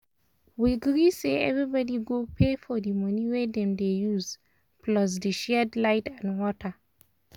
we gree say everybody go pay for di room wey dem dey use plus di shared light and water.